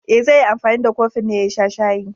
E, zai yi anfani da kofin ne ya sha shayi.